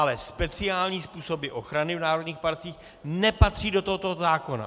Ale speciální způsoby ochrany v národních parcích nepatří do tohoto zákona.